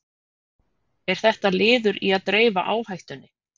Er þetta liður í að dreifa áhættunni?